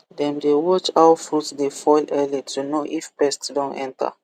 dem dey watch how fruit dey fall early to know if pest don enter